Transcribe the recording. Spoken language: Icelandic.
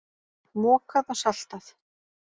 Mokað og saltað.